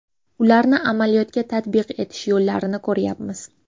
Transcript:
Ularni amaliyotga tatbiq etish yo‘llarini ko‘ryapmiz.